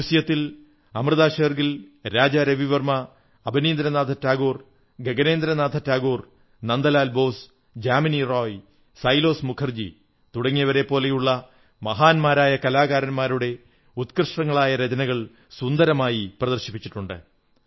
മ്യൂസിയത്തിൽ അമൃതാ ഷേർഗിൽ രാജാ രവിവർമ്മ അവനീന്ദ്രനാഥ് ടാഗോർ ഗഗനേന്ദ്രനാഥ ടാഗോർ നന്ദലാൽ ബോസ് ജാമിനീ റായ് സൈലോസ് മുഖർജി തുടങ്ങിയവരെപ്പോലുള്ള മഹാന്മാരായ കലാകാരന്മാരുടെ ഉത്കൃഷ്ടങ്ങളായ രചനകൾ സുന്ദരമായി പ്രദർശിപ്പിച്ചിട്ടുണ്ട്